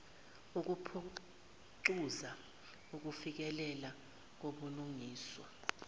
ukuphucuza ukufikelela kubulungiswa